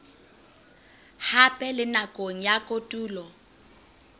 hape le nakong ya kotulo